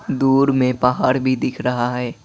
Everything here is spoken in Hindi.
दूर में पहाड़ भी दिख रहा है।